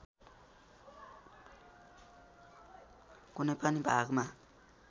कुनै पनि भागमा